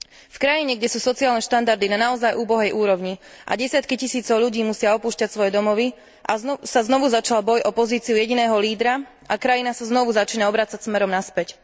V krajine, kde sú sociálne štandardy na naozaj úbohej úrovni a desiatky tisíc ľudí musia opúšťať svoje domovy, sa znovu začal boj o pozíciu jediného lídra a krajina sa znovu začína obracať smerom naspäť.